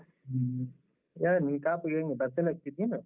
ಹ್ಮ್. ಯಾರು ನೀನ್ ಕಾಪಿಗೆ ಹೆಂಗೆ ಬಸ್ಸಲ್ಲಿ ಹೋಗ್ತಾ ಇದ್ದಿ ಏನು?